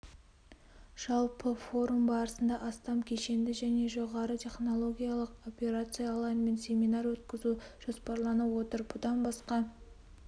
жалпы форум барысында астам кешенді және жоғары технологиялық операциялар мен семинар өткізу жоспарланып отыр бұдан басқа